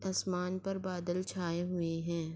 آسمان پر بادل چاہے ہوئے ہے۔